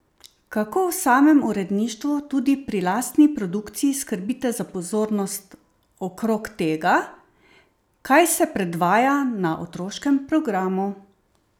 Kako v samem uredništvu tudi pri lastni produkciji skrbite za pozornost okrog tega, kaj se predvaja na otroškem programu?